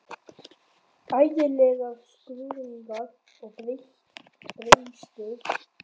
Ægilegir skruðningar og brestir heyrðust á línunni.